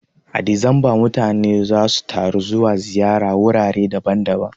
A Disamba mutane zasu ta zuwa ziyara wurare daban daban